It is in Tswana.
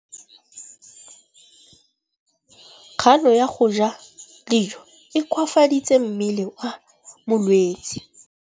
Kganô ya go ja dijo e koafaditse mmele wa molwetse.